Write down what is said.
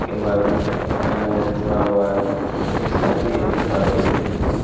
के बाजू में एक दुकान है वह खुला हुआ है जो की शादी एवं बाटी के लिए है।